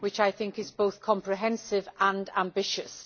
I think it is both comprehensive and ambitious.